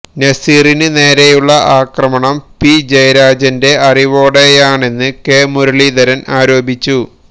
നസീറിന് നേരെയുള്ള അക്രമം പി ജയരാജന്റെ അറിവോടെയാണെന്ന് കെ മുരളീധരന് ആരോപിച്ചു